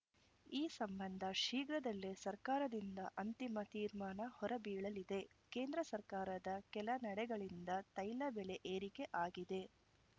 ಈ ಸಂಬಂಧ ಶೀಘ್ರದಲ್ಲೇ ಸರ್ಕಾರದಿಂದ ಅಂತಿಮ ತೀರ್ಮಾನ ಹೊರಬೀಳಲಿದೆ ಕೇಂದ್ರ ಸರ್ಕಾರದ ಕೆಲ ನಡೆಗಳಿಂದ ತೈಲ ಬೆಲೆ ಏರಿಕೆ ಆಗಿದೆ